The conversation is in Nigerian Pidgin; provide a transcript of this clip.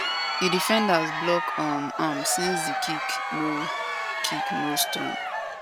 di defenders block um am since di kick no kick no strong